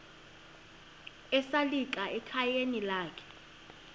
esalika ekhayeni lakhe